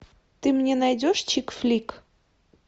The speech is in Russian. ты мне найдешь чикфлик